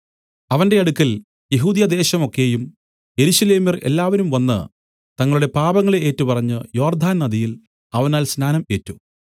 അവന്റെ അടുക്കൽ യെഹൂദ്യദേശം ഒക്കെയും യെരൂശലേമ്യർ എല്ലാവരും വന്നു തങ്ങളുടെ പാപങ്ങളെ ഏറ്റുപറഞ്ഞ് യോർദ്ദാൻ നദിയിൽ അവനാൽ സ്നാനം ഏറ്റു